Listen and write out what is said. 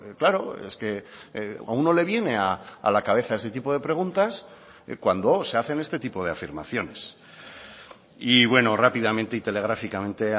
claro es que a uno le viene a la cabeza ese tipo de preguntas cuando se hacen este tipo de afirmaciones y bueno rápidamente y telegráficamente